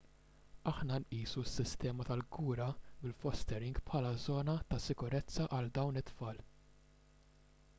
aħna nqisu s-sistema tal-kura bil-fostering bħala żona ta' sikurezza għal dawn it-tfal